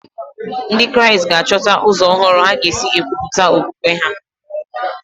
Ndị Kraịst ga-achọta ụzọ ọhụrụ ha ga-esi kwupụta okwukwe ha.